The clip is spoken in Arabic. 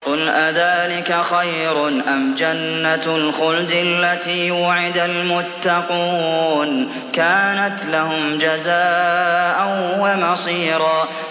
قُلْ أَذَٰلِكَ خَيْرٌ أَمْ جَنَّةُ الْخُلْدِ الَّتِي وُعِدَ الْمُتَّقُونَ ۚ كَانَتْ لَهُمْ جَزَاءً وَمَصِيرًا